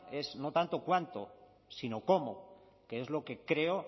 es no tanto cuánto sino cómo que es lo que creo